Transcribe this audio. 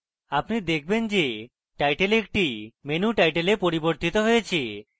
আপনি দেখবেন যে title একটি menu title a পরিবর্তিত হয়েছে